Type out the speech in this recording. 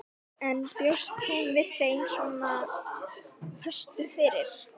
En bjóst hún við þeim svona föstum fyrir?